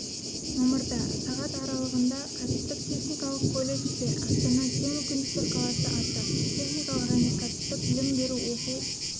мамырда сағат аралығында кәсіптік-техникалық колледжде астана тең мүмкіндіктер қаласы атты техникалық және кәсіптік білім беру оқу